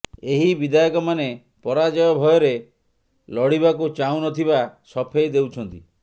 ଏହି ବିଧାୟକମାନେ ପରାଜୟ ଭୟରେ ଲଢ଼ିବାକୁ ଚାହୁଁନଥିବା ସଫେଇ ଦେଉଛନ୍ତି